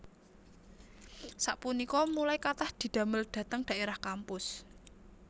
Sapunika mulai kathah didamel dhateng daerah kampus